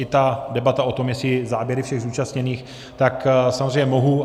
I ta debata o tom, jestli záběry všech zúčastněných, tak samozřejmě mohu.